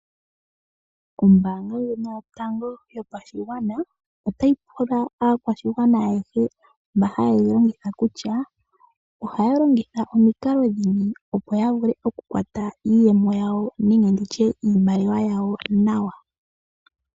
Ombaanga ndjono yatango yopashigwana, otayi pula aakwashigwana ayehe mba hayeyi longitha kutya, ohaya longitha omikalo dhimwe opo yavule okukwata iiyemo nenge iimaliwa yawo nawa.